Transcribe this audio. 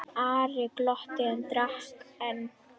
Ari glotti og drakk enn.